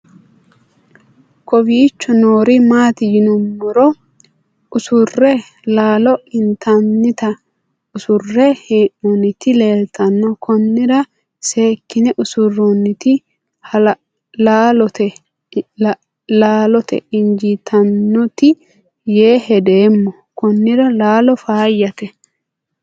kowiicho noori maati yinummoro usurre laalo intannita usurre hee'noonniti leeltanno konnira seekkine usurroonniti laalote injiitannote yee hedeemmo konnira laalo faayyate